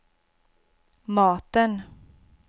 maten